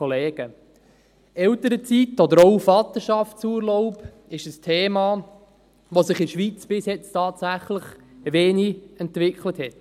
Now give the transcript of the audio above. Elternzeit oder auch Vaterschaftsurlaub sind Themen, die sich in der Schweiz bis jetzt tatsächlich wenig entwickelt haben.